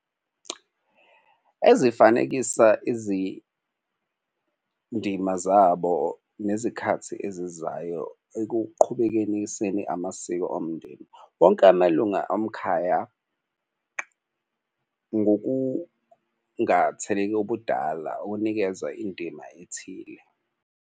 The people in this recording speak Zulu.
Ezifanekisa izindima zabo nezikhathi ezizayo ekuqhubekeniseni amasiko omndeni wonke amalunga omkhaya ngokungatheleki obudala ukunikeza indima ethile.